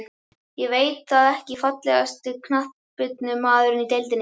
Ég veit það ekki Fallegasti knattspyrnumaðurinn í deildinni?